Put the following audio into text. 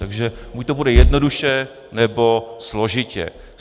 Takže buď to půjde jednoduše, nebo složitě.